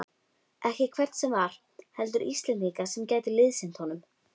Ekki hvern sem var, heldur Íslendinga sem gætu liðsinnt honum.